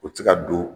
U tɛ se ka don